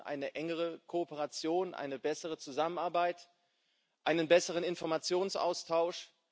Wir brauchen eine engere Kooperation, eine bessere Zusammenarbeit, einen besseren Informationsaustausch.